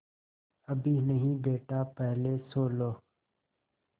अभी नहीं बेटा पहले सो लो